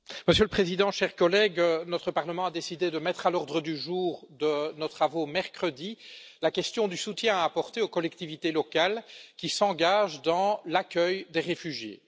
Monsieur le Président, chers collègues, notre Parlement a décidé de mettre à l'ordre du jour de nos travaux de mercredi la question du soutien à apporter aux collectivités locales qui s'engagent dans l'accueil des réfugiés.